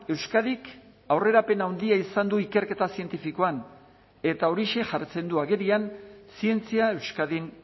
euskadik aurrerapen handia izan du ikerketa zientifikoan eta horixe jartzen du agerian zientzia euskadin